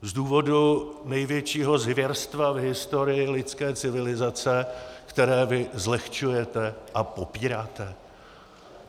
Z důvodu největšího zvěrstva v historii lidské civilizace, které vy zlehčujete a popíráte?